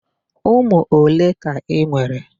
Ụmụ ole ka i nwere?